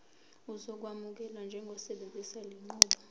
uzokwamukelwa njengosebenzisa lenqubo